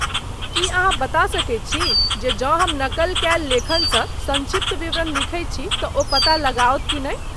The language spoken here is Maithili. की अहाँ बता सकैत छी जे जँ हम नकल कयल लेखनसँ संक्षिप्त विवरण लिखैत छी तँ ओ पता लगाओत कि नहि?